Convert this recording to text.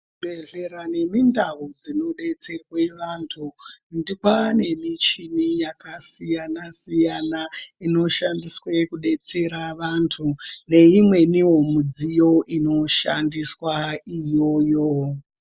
Kuzvibhedhlera nemikundau dzinodetserwe antu kuti kwanemuchi yaka siyana siyana dzonodetsere vantu neimweniwo midziyo inoshandiswa iyoyo.